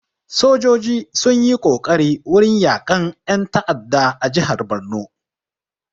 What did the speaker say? Sojoji sun yi kokari wurin yaƙan ƴan ta'adda a jihar barno